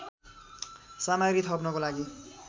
सामग्री थप्नको लागि